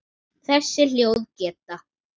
Þessi hljóð geta